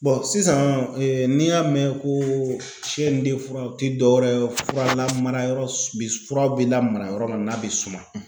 sisan n'i y'a mɛn ko o tɛ dɔwɛrɛ ye fura lamara yɔrɔ fura be lamara yɔrɔ min n'a bɛ suma